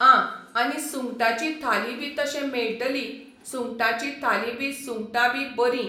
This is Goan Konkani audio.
आं आनी सुंगटांची थाली बी तशें मेळटली सुंगटांची थाली बी सुंगटां बी बरीं